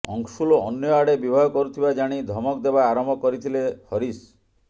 ଅଂଶୁଲ ଅନ୍ୟ ଆଡ଼େ ବିବାହ କରୁଥିବା ଜାଣି ଧମକ ଦେବା ଆରମ୍ଭ କରିଥିଲେ ହରିଶ